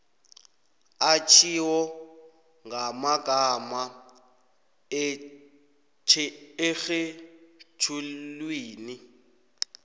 atjhiwo ngamagama etjhejulini